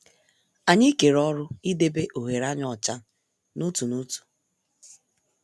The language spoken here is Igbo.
Anyị kere ọrụ idebe ohere anyị ọcha n'otu n'otu.